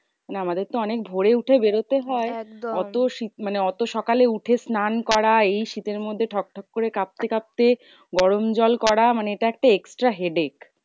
না আমাদের তো অনেক ভোরে উঠে বেরোতে হয়? অত শীত মানে অত সকালে উঠে স্নান করা এই শীতের মধ্যে ঠক ঠক করে কাঁপতে কাঁপতে গরম জল করা। মানে এটা একটা extra headache.